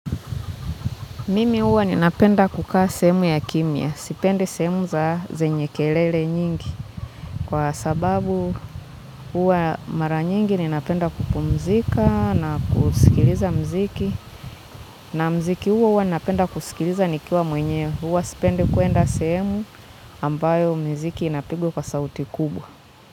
Mimi huwa ninapenda kukaa sehemu ya kimya. Sipendi sehemu za, zenye kelele nyingi. Kwa sababu huwa mara nyingi ninapenda kupumzika na kusikiliza mziki na mziki huo huwa ninapenda kusikiliza nikiwa mwenyewe. Huwa sipendi kwenda sehemu ambayo miziki inapigwa kwa sauti kubwa.